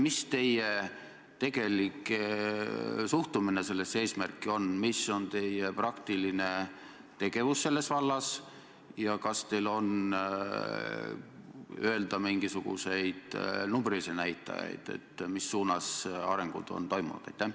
Mis teie tegelik suhtumine sellesse eesmärki on, mis on teie praktiline tegevus selles vallas ja kas teil on öelda mingisuguseid numbrilisi näitajaid, mis suunas arengud on toimunud?